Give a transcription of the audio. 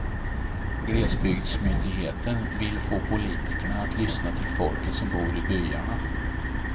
Glesbygdsmyndigheten vill få politikerna att lyssna till folket som bor i byarna.